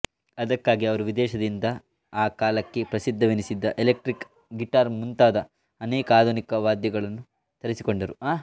ಅದಕ್ಕಾಗಿ ಅವರು ವಿದೇಶದಿಂದ ಆ ಕಾಲಕ್ಕೆ ಪ್ರಸಿದ್ಧವೆನಿಸಿದ್ದ ಎಲೆಕ್ಟ್ರಿಕ್ ಗಿಟಾರ್ ಮುಂತಾದ ಅನೇಕ ಆಧುನಿಕ ವಾದ್ಯಗಳನ್ನು ತರಿಸಿಕೊಂಡರು